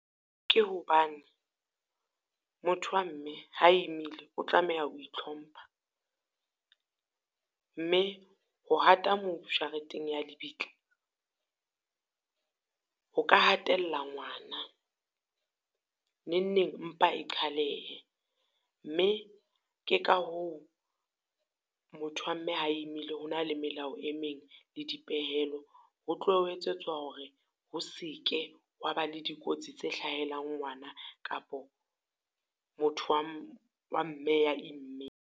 Ke hobane motho wa mme ha emile, o tlameha ho itlhompha. Mme ho hata mobu jareteng ya lebitla, ho ka hatella ngwana. Nengneng mpa qhalehe, mme ke ka hoo motho wa mme ha emile ho na le melao e meng le dipehelo. Ho tloha ho etsetswa hore ho se ke hwa ba le dikotsi tse hlahelang ngwana kapo motho wa wa mme ya immeng.